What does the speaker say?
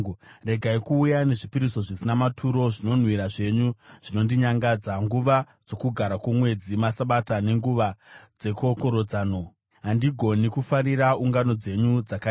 Regai kuuya nezvipiriso zvisina maturo! Zvinonhuhwira zvenyu zvinondinyangadza. Nguva dzoKugara kwoMwedzi, maSabata nenguva dzekokorodzano, handigoni kufarira ungano dzenyu dzakaipa.